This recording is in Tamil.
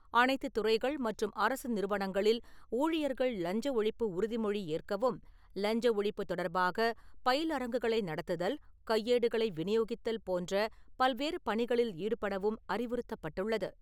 அனைத்து துறைகள் மற்றும் அரசு நிறுவனங்களில் ஊழியர்கள் லஞ்ச ஒழிப்பு உறுதிமொழி ஏற்கவும், லஞ்ச ஒழிப்பு தொடர்பாக பயிலரங்குகளை நடத்துதல், கையேடுகளை வினியோகித்தல் போன்ற பல்வேறு பணிகளில் ஈடுபடவும் அறிவுறுத்தப்பட்டுள்ளது.